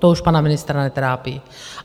To už pana ministra netrápí.